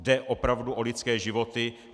Jde opravdu o lidské životy.